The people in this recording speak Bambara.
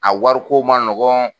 A wari ko man nɔgɔn